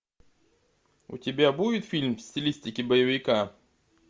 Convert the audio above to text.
у тебя будет фильм в стилистике боевика